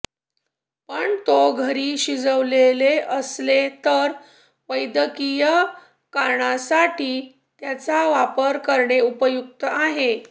पण तो घरी शिजवलेले असेल तर वैद्यकीय कारणांसाठी त्यांचा वापर करणे उपयुक्त आहे